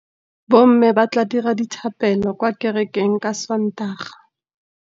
Bommê ba tla dira dithapêlô kwa kerekeng ka Sontaga.